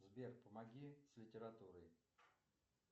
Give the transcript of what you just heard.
сбер помоги с литературой